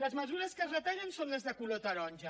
les mesures que es retallen són les de color taronja